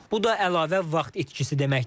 Bu da əlavə vaxt itkisi deməkdir.